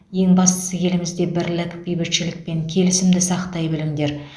ең бастысы елімізде бірлік бейбітшілік пен келісімді сақтай біліңдер